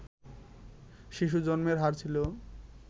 শিশু জন্মের হার ছিল